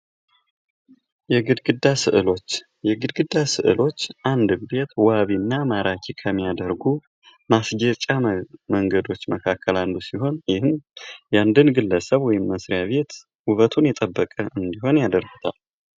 የግድግዳ ስዕሎች አንድን ቤት ውብ እንዲሆን የሚያደርጉ ናቸው።